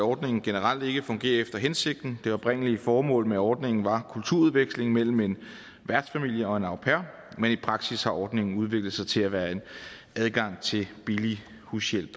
ordningen generelt ikke fungerer efter hensigten det oprindelige formål med ordningen var kulturudveksling mellem en værtsfamilie og en au pair men i praksis har ordningen udviklet sig til at være en adgang til billig hushjælp